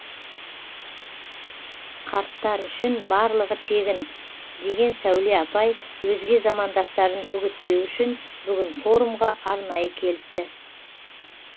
қарттар үшін барлығы тегін деген сәуле апай өзге замандастарын үгіттеу үшін бүгінгі форумға арнайы келіпті